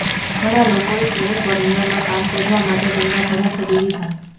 ઘણા લોકોએ કેલિફોર્નિયામાં કામ શોધવા માટે તેમના ઘરો છોડી દીધા